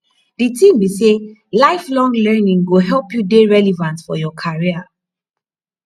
di tin be sey lifelong learning go help you dey relevant for your career